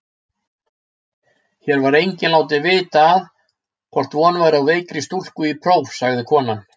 Hér var enginn látinn vita að von væri á veikri stúlku í próf, sagði konan.